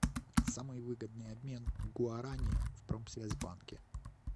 самый выгодный обмен гуарани в промсвязьбанке